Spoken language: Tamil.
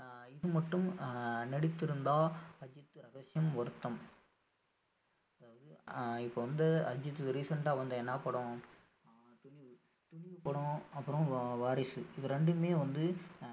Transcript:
ஆஹ் இது மட்டும் ஆஹ் நடித்திருந்தால் அஜித் ரகசியம் வருத்தம் அதாவது அஹ் இப்ப வந்து recent ஆ வந்த என்ன படம் அஹ் துணிவு துணிவு படம் அப்புறம் வா~ வாரிசு இது ரெண்டுமே வந்து